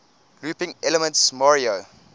looping elements mario